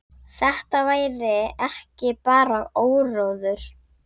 Þetta væri ekki bara áróður.